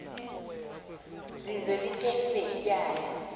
zizwe liphelil ityala